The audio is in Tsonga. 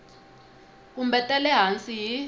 kumbe ta le hansi hi